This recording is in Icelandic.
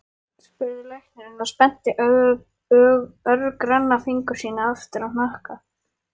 spurði læknirinn og spennti örgranna fingur sína aftur á hnakka.